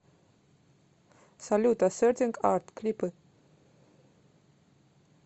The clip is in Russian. салют асертинг арт клипы